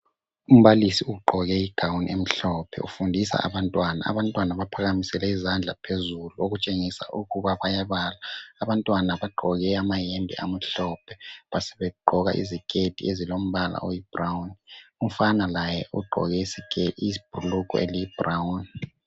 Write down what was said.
Umbalisi ugqoke i"gown" emhlophe ufundisa abantwana, abantwana baphakamisele izandla phezulu okutshengisa ukuba bayabala abantwana bagqoke amayembe amhlophe basebe gqoka iziketi ezilombala oyi"brown" umfana laye ugqoke ibhulugwe eliyi"brown".